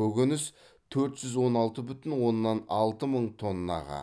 көкөніс төрт жүз он алты бүтін оннан алты мың тоннаға